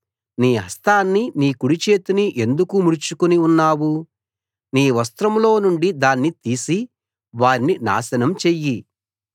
నీ హస్తాన్ని నీ కుడి చేతిని ఎందుకు ముడుచుకుని ఉన్నావు నీ వస్త్రంలో నుండి దాన్ని తీసి వారిని నాశనం చెయ్యి